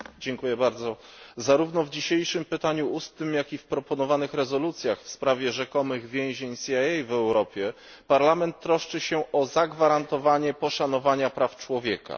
Panie Przewodniczący! Zarówno w dzisiejszym pytaniu ustnym jak i w proponowanych rezolucjach w sprawie rzekomych więzień CIA w Europie Parlament troszczy się o zagwarantowanie poszanowania praw człowieka.